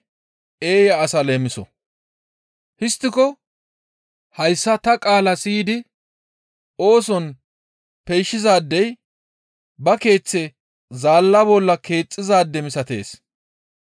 «Histtiko hayssa ta qaalaa siyidi ooson peyshizaadey ba keeththe zaalla bolla keexxizaade misatees.